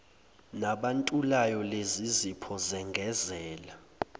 nabantulayo lezizipho zengezela